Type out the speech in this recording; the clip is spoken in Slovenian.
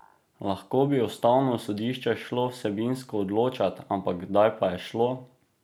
Lahko bi ustavno sodišče šlo vsebinsko odločat, ampak kdaj pa je šlo?